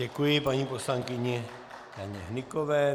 Děkuji paní poslankyni Janě Hnykové.